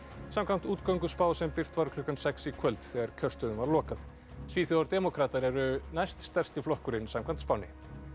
samkvæmt útgönguspá sem birt var klukkan sex í kvöld þegar kjörstöðum var lokað svíþjóðardemókratar eru næst stærsti flokkurinn samkvæmt spánni